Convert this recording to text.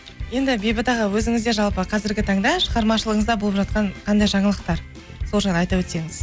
енді бейбіт аға өзіңізде жалпы қазіргі таңда шығармашылығыңызда болып жатқан қандай жаңалықтар сол жайлы айта өтсеңіз